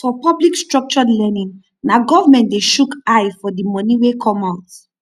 for public structured learning na government de shook eye for di moni wey come out